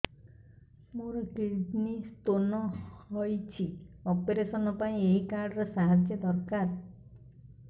ମୋର kidney stone ହଇଛି operation ପାଇଁ ଏହି କାର୍ଡ ର ସାହାଯ୍ୟ ଦରକାର